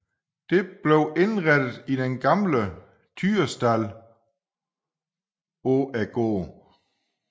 Det blev indrettet i den gamle tyrestald på gården